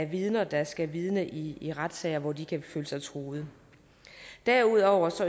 vidner der skal vidne i i retssager hvor de kan føle sig truet derudover